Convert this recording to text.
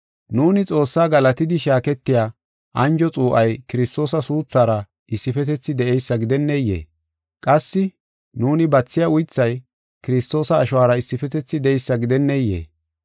Nuuni Xoossaa galatidi shaaketiya anjo xuu7ay Kiristoosa suuthara issifetethi de7eysa gidenneyee? Qassi nuuni bathiya uythay Kiristoosa ashuwara issifetethi de7eysa gidenneyee?